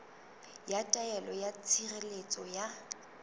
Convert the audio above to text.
ya taelo ya tshireletso ya